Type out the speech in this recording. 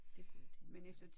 Det kunne jeg tænke mig